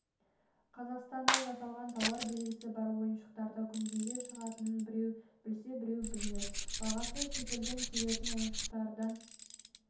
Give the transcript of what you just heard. қазақстанда жасалған тауар белгісі бар ойыншықтарды күнгейде шығатынын біреу білсе біреу білмес бағасы шетелден келетін ойыншықтардан